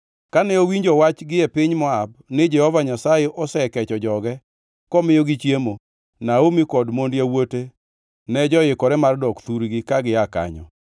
Kane owinjo wach gie piny Moab ni Jehova Nyasaye osekecho joge komiyogi chiemo, Naomi kod mond yawuote ne joikore mar dok thurgi ka gia kanyo.